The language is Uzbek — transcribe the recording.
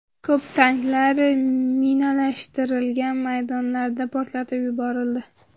Ko‘p tanklar minalashtirilgan maydonlarda portlatib yuborildi.